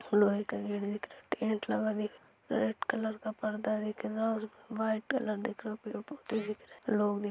लोहे का गेट दिख रहा है टेंट लगा दिख रहा है रेड कलर का पर्दा लग दिख रहा है और व्हाईट कलर दिख रहा है पेड़-पौधे दिख रहे है लोग दिख --